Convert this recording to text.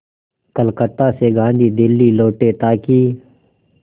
कलकत्ता से गांधी दिल्ली लौटे ताकि